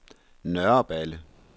Nørreballe